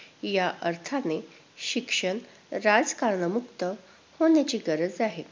या अर्थाने शिक्षण राजकारण मुक्त होण्याची गरज आहे.